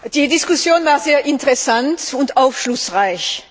Die Diskussion war sehr interessant und aufschlussreich.